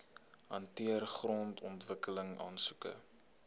hanteer grondontwikkeling aansoeke